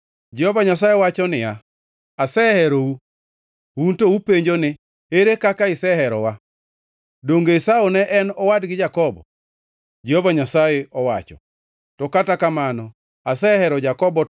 Jehova Nyasaye wacho niya, “Aseherou. “Un to upenjo ni, ‘Ere kaka iseherowa?’ “Donge Esau ne en owadgi Jakobo?” Jehova Nyasaye wacho. “To kata kamano asehero Jakobo